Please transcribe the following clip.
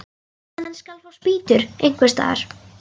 Hann skal fá spýtur einhvers staðar.